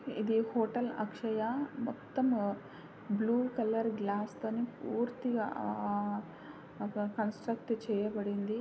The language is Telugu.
ఇది హోటల్ అక్షయ మొత్తం బ్లూ కలర్ గ్లాస్ తోని పూర్తిగా అక్కడ కన్స్ట్రుక్ట్ చేయబడింది.